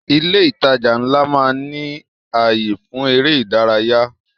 Ilé ìtajà ńlá máa ń ní ayé fún èrè ìdárayá